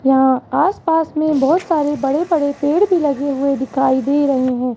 यहां आस पास में बहोत सारे बड़े बड़े पेड़ भी लगे हुए दिखाई दे रहे हैं।